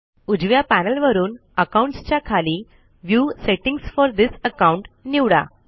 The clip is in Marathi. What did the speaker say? उजव्या पॅनल वरून अकाउंट्स च्या खाली view settings for this account निवडा